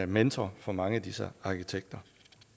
mentor for mange af disse arkitekter